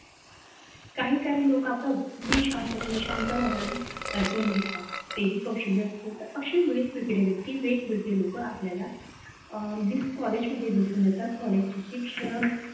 काय काय लोक असतात तालुका शांत पाण्याने शांत मनाने ऐकून घेत असतात. हे कौशल्य असतात असे वेगवेगळे व्यक्ती वेगवेगळे लोक आपल्याला कॉलेजमध्ये दिसून येतात. कॉलेज शिक्षण,